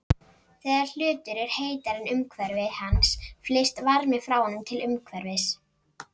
Þegar hlutur er heitari en umhverfi hans flyst varmi frá honum til umhverfisins.